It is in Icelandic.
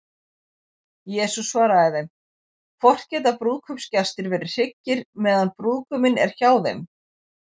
Jesús svaraði þeim: Hvort geta brúðkaupsgestir verið hryggir, meðan brúðguminn er hjá þeim?